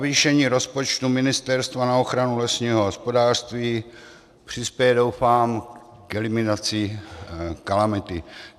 Navýšení rozpočtu ministerstva na ochranu lesního hospodářství přispěje, doufám, k eliminaci kalamity.